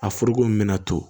A foroko min bɛna to